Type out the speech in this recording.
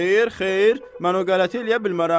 Xeyr, xeyr, mən o qələti eləyə bilmərəm.